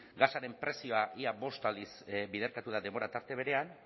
gasaren prezioa ia bost aldiz biderkatu da denbora tarte berean